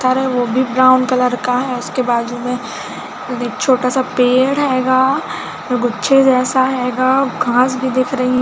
थर हैं वो भी ब्राउन कलर का है उसके बाजू में एक छोटा सा पेड़ हैगा और गुच्छे जैसा हैगा और घांस भी दिख रही--